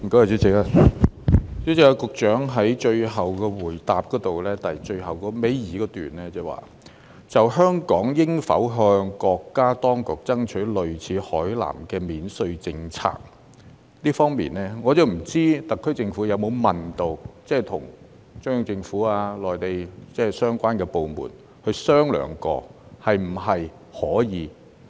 主席，局長在主體答覆倒數第二段中提及"就香港應否向國家當局爭取類似海南的免稅政策"，我不知道特區政府有否為此與中央政府及內地相關部門商量，問問是否可行。